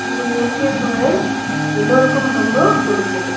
இந்த இயற்கை சூழல் எல்லோருக்கும் ரொம்ப புடிச்சது.